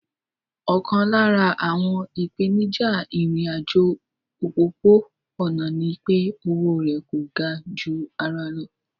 Ọ̀kan lára àwọn ìpèníjà ìrìn àjò òpópó-ọ̀nà ní pé o owó rẹ̀ kò ga ju ara lọ